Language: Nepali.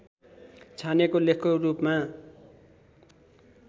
छानिएको लेखको रूपमा